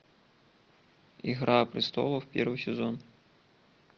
игра престолов первый сезон